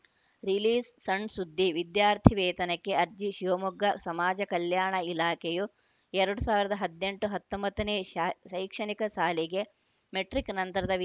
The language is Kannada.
ರಿಲೀಸ್‌ಸಣ್‌ಸುದ್ದಿ ವಿದ್ಯಾರ್ಥಿವೇತನಕ್ಕೆ ಅರ್ಜಿ ಶಿವಮೊಗ್ಗ ಸಮಾಜ ಕಲ್ಯಾಣ ಇಲಾಖೆಯು ಎರಡ್ ಸಾವಿರದ ಹದಿನೆಂಟು ಹತ್ತೊಂಬತ್ತನೇ ಶಾ ಶೈಕ್ಷಣಿಕ ಸಾಲಿಗೆ ಮೆಟ್ರಿಕ್‌ ನಂತರದ ವಿದ್